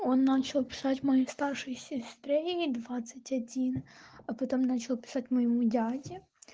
он начал писать моей старшей сестре ей двадцать один а потом начал писать моему дяде